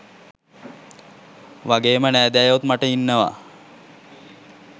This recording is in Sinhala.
වගේම නෑදෑයොත් මට ඉන්නව.